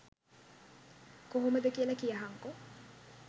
කොහොමද කියල කියහන්කෝ.